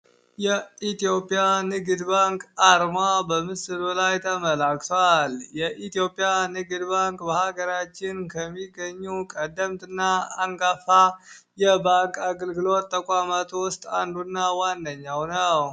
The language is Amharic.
የኢትዮጵያ ንግድ ባንክ አአርማ በምስሉ ላይ ተመላክቷል። የኢትዮጵያ ንግድ ባንክ በሀገራችን ከሚገኙ ቀደምት እና አንጋፋ የባንክ አግልግሎት ተቋመቱ ውስጥ አንዱና ዋንደኛው ነው።